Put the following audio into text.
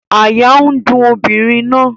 Àyà n dùn obìnrin náà